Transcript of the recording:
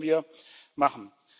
Das werden wir machen.